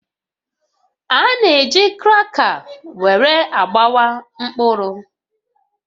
A na-eji kraka were agbawa mkpụrụ